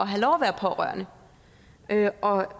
have lov at være pårørende og